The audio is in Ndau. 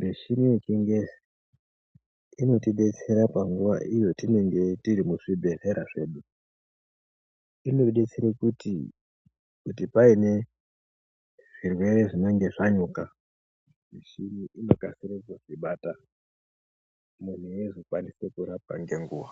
Michini yechingezi inotidetsera panguwa iyo tinenge tiri muzvibhehlera zvedu. Inodetsera kuti paine zvirwere zvinenge zvanyuka michini inokasire kuzvibata munhu eizokwanisa kurapwa ngenguwa.